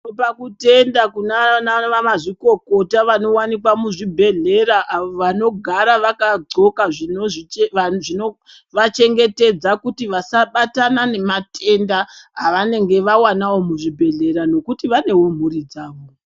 Tinopa kutenda kunaana mazvikokota vanowanikwa muzvibhehlera avo vanogara vakadhloka zvinovachengetedza kuti vasabatana nematenda avanenge vawanawo muzvibhedhlera nokuti vanewo mhuri dzavo.